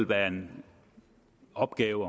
være en opgave